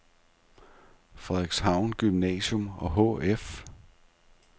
Frederikshavn Gymnasium og Hf